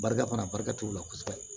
Barika fana barika t'u la kosɛbɛ